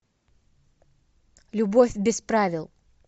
любовь без правил